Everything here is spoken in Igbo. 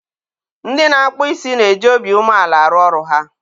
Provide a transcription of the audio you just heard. ndị na-akpụ isi na-eji obi umeala arụ ọrụ ha.